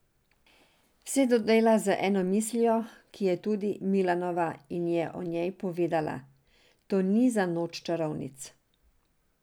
Vse to dela z eno mislijo, ki je tudi Milanova, in je o njej povedala: "To ni za noč čarovnic.